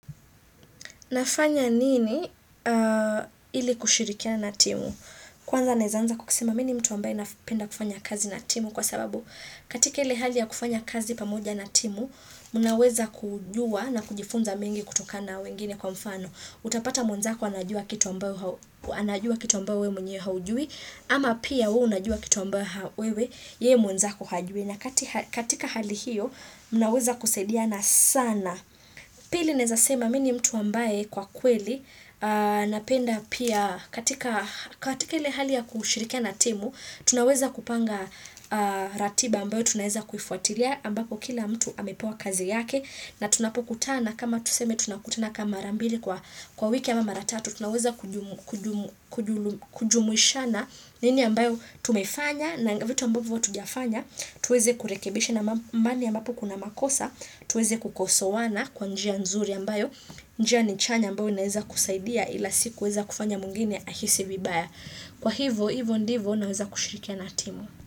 Nafanya nini ili kushirikiana na timu? Kwanza naeza anza kwa kusema mi ni mtu ambaye napenda kufanya kazi na timu kwa sababu katika ile hali ya kufanya kazi pamoja na timu mnaweza kujua na kujifunza mengi kutokana na wengine kwa mfano. Utapata mwenzako anajua kitu ambayo ambao wewe mwenyewe haujui ama pia wewe unajua kitu ambayo wewe ye mwenzako hajui na katika hali hiyo mnaweza kusaidiana saana. Pili naezasema mi ni mtu ambaye kwa kweli napenda pia katika katika ile hali ya kushirikia na timu, tunaweza kupanga ratiba ambayo tunaweza kufuatilia ambapo kila mtu amepewa kazi yake na tunapokutana kama tuseme tunakutana kama mara mbili kwa wiki ama maratatu, tunaweza kujumuishana nini ambayo tumefanya na vitu ambayo hatujafanya, tuweze kurekebisha na mahali ambapo kuna makosa, tuweze kukosoana kwa njia nzuri ambayo, njia ni chanya ambayo inaweza kusaidia ila si kuweza kufanya mwingine ahisi vibaya. Kwa hivo, hivo ndivo naweza kushirikiana na timu.